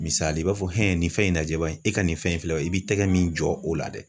Misali i b'a fɔ nin fɛn in najɛ bani e ka nin fɛn in filɛ ba i b'i tɛgɛ min jɔ o la dɛ